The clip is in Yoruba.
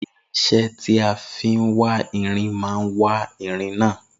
Irinsé tí a fi wá irin má wá irin náà